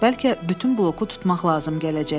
Bəlkə bütün bloku tutmaq lazım gələcək.